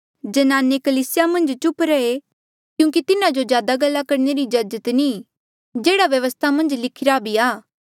ज्नाने कलीसिया मन्झ चुप रहे क्यूंकि तिन्हा जो ज्यादा गल्ला करणे री इज्जाजत नी ई जेहड़ा व्यवस्था मन्झ लिखिरा भी आ